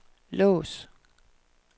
lås